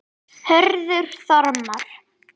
Hörður Þormar.